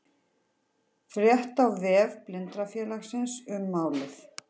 Frétt á vef Blindrafélagsins um málið